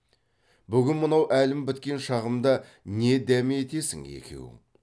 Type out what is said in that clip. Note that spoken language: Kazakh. бүгін мынау әлім біткен шағымда не дәме етесің екеуің